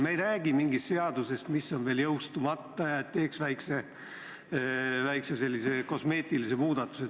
Me ei räägi mingist seadusest, mis on veel jõustumata, ja et teeks nüüd väikse kosmeetilise muudatuse.